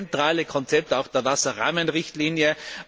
Das ist auch das zentrale Konzept der Wasserrahmenrichtlinie.